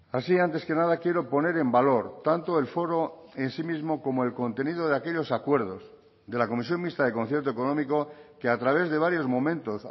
así antes que nada quiero poner en valor tanto el foro en sí mismo como el contenido de aquellos acuerdos de la comisión mixta de concierto económico que a través de varios momentos